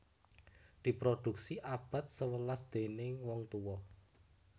Diproduksi abad sewelas déning wong tuwa